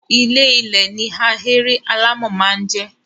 Ilé -ilẹ̀ ni ahéré alámọ̀ máa ń jẹ́.